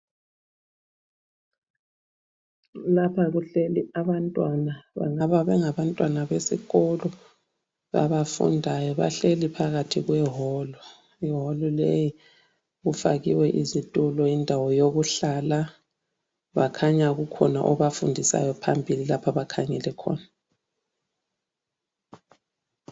Lapha kuhleli abantwana, bangaba bengabantwana besikolo abafundayo. Bahleli phakathi kwewolu. Iwolu leyi ifakiwe izitulo, indawo yokuhlala. Bakhanya kukhona obafundisayo phambili lapha abakhangele khona.